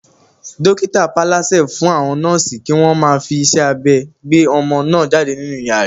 Dókítà paálásẹ fún àwọn nọ́ọ̀sì kí wọ́n má fi iṣẹ́ abẹ gbé ọmọ náà jáde nínú ìyá rẹ